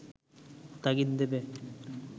তাগিদ দেবে